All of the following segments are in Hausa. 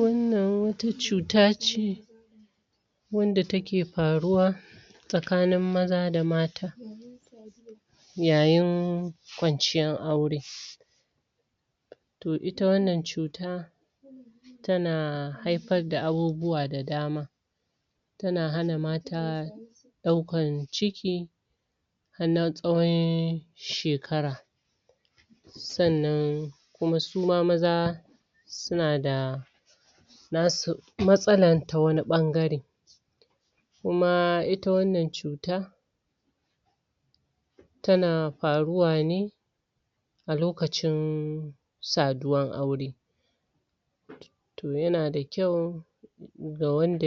Wanan wata cuta ce wanda ta ke faruwa tsakanin maza da mata yayin kwanciyan aure toh ita wanan cuta tana haifa da abubuwa da dama tana hana mata daukan ciki har nasa'oin shekara san'nan kuma suma maza suna da na su matsalan, ta wani bangare kuma ita wanan cuta tana faruwa ne a lokacin saduwan aure toh, yana da kyau ga wanda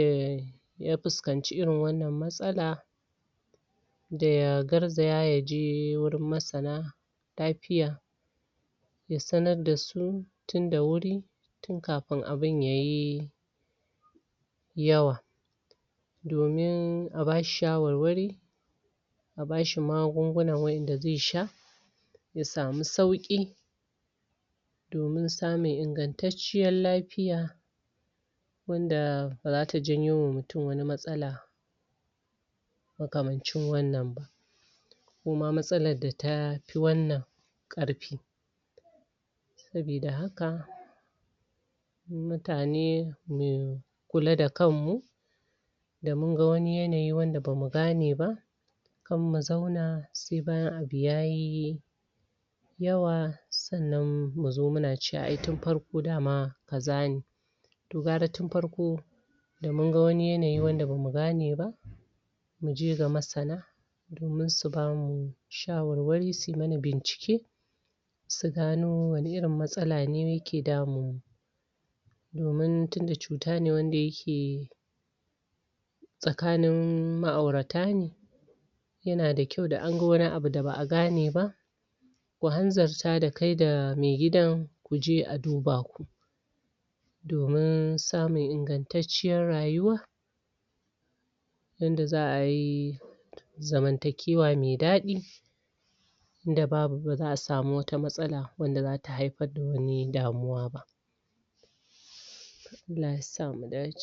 ya fuskance irin wannan matsala da ya garzaya, ya je wurin masana ta fiya, ya sanar da su ya sanar da su tun da wuri tun kafin, abun yayi yawa domin a ba shi shawarwari a ba shi magun'guna wa'en da zai sha ya sami sauki domin samin ingan'taciyan lafiya wanda baza ta janyo ma mutum wani matsala ma kamancin wanan ba kuma matsalan da ta fi wanan karfi sabida haka mutane mu kula da kan mu da mun gan wani yanayi wanda bamu gane ba kar mu zauna sai bayan abu yayi yawa san'nan mu zo muna cewa ai tun farko dama ka za ne toh, gara tun farko da mun gan wani yanayi da bamu gane ba muje ga masana domin su bamu shawarwari su yi mana bincike su gano wana irin matsala ne yake damin mu domin tunda cuta ne wande yake tsakanin ma aurata ne yana da kyau, da an gan wani abu da ba a gane ba ku hanzarta da kai da maigidan ku je a duba ku domin samun ingan'taciyan rayuwa wanda za ayi zamantakewa mai dadi da babu, ba za'a samu wata matsala ba wanda za ta haifar da wani damuwa ba Allah ya sa, mu dace